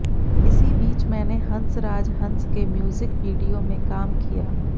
इसी बीच मैंने हंसराज हंस के म्यूजिक वीडियो में काम किया